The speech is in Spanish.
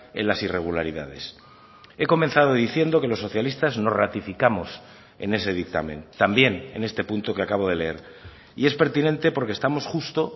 en las irregularidades he comenzado diciendo que los socialistas nos ratificamos en ese dictamen también en este punto que acabo de leer y es pertinente porque estamos justo